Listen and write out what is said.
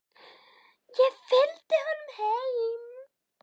Ég fylgdi honum heim.